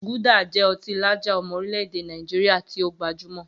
Gulder jẹ́ ọtí lager ọmọ orílẹ̀-èdè Nàìjíríà tí ó gbajúmọ̀.